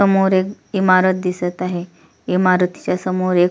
समोर एक इमारत दिसत आहे इमारतीच्या समोर एक--